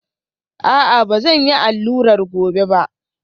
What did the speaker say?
A'a, ba zan yi allurar gobe ba